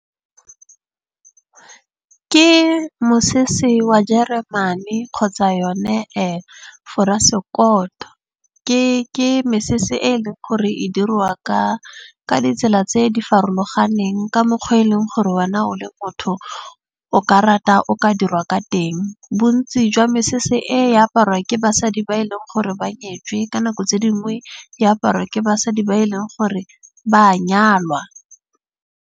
Ke mosese wa jeremane kgotsa yone foresekoto. Ke mesese e leng gore e diriwa ka ditsela tse di farologaneng. Ka mokgwa o e leng gore wena o le motho o ka rata o ka dirwa ka teng. Bontsi jwa mesese e aparwa ke basadi ba e leng gore ba nyetswe. Ka nako tse dingwe e aparwa ke basadi ba e leng gore ba a nyalwa.